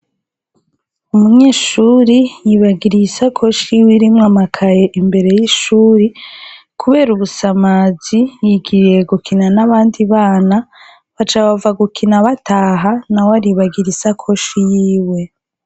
Umunyeshuri yibagiye isakoshi yiwe irimwo amakaye imbere yishure kubera ubusamazi yigiriye gukina nabandi bana baca bava gukina bataha nawe aca aribagira isakoshi yiwe.